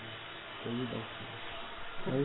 Eu aprendi a dar o show.